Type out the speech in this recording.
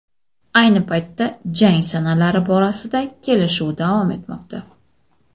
Ayni paytda jang sanalari borasida kelishuv davom etmoqda.